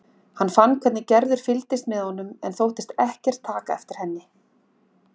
Hann fann hvernig Gerður fylgdist með honum en þóttist ekkert taka eftir henni.